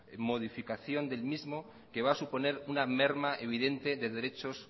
modificación del mismo que va a suponer una merma evidente de derechos